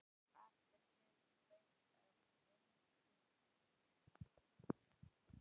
Ekki hefur fengist gefið upp hvað uppskriftin að lakkrísnum kostaði.